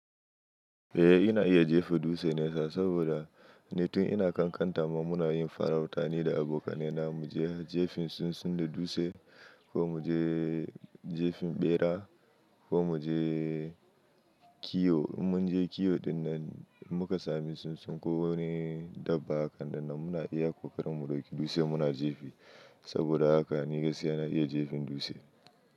Eh ina iya jefa dutse nesa, saboda ni tun ina ƙanƙanta ma muna yin farauta nida abokanai na mu je jefin tsintsun da dutse, ko mu je jefin bera, ko mu je kiwo. In mun je kiwo ɗinnan, muka sami tsintsun ko wani dabba hakan ɗinnan muna iya kokarin mu ɗauki dutse mu na jefi, saboda haka ni gaskiya na iya jefin dutse.